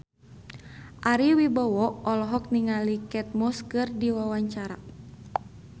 Ari Wibowo olohok ningali Kate Moss keur diwawancara